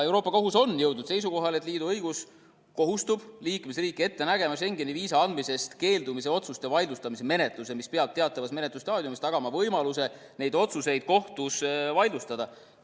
Euroopa Kohus on jõudnud seisukohale, et liidu õigus kohustab liikmesriiki ette nägema Schengeni viisa andmisest keeldumise otsuste vaidlustamise menetluse, mis peab teatavas menetlusstaadiumis tagama võimaluse neid otsuseid kohtus vaidlustada.